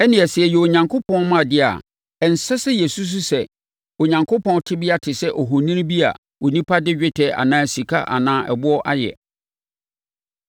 “Ɛnneɛ sɛ yɛyɛ Onyankopɔn mma de a, ɛnsɛ sɛ yɛsusu sɛ Onyankopɔn tebea te sɛ ohoni bi a onipa de dwetɛ anaa sika anaa ɛboɔ ayɛ.